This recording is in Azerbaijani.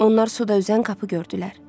Onlar suda üzən qapı gördülər.